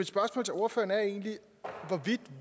vil